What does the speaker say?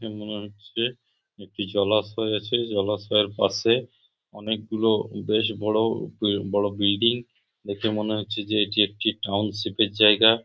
দেখে মনে হচ্ছে একটি জলাশয় আছে জলাশয়ের পাশে অনেকগুলো বেশ বড়ো বড়ো বিলিডিং দেখে মনে হচ্ছে যে এটি একটি টাউনশিপ - এর জায়গা।